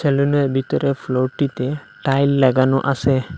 সেলুনের ভিতরে ফ্লোরটিতে টাইল লাগানো আসে ।